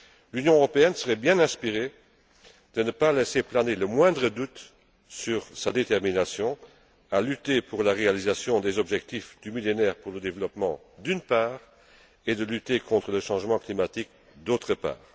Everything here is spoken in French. L'Union européenne serait bien inspirée de ne pas laisser planer le moindre doute sur sa détermination à lutter pour la réalisation des objectifs du Millénaire pour le développement, d'une part, et contre le changement climatique, d'autre part.